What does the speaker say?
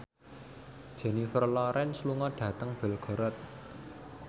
Jennifer Lawrence lunga dhateng Belgorod